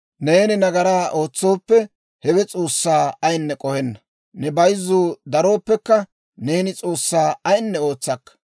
Neeni nagaraa ootsooppe, hewe S'oossaa ayinne k'ohenna. Ne bayzzuu darooppekka, neeni S'oossaa ayinne ootsakka.